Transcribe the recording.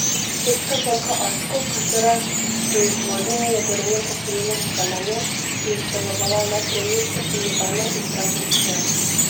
Švedska znamka Asko, katere proizvodnjo je Gorenje preselilo v Velenje, je izdelovala le premijske pomivalne in pralne stroje.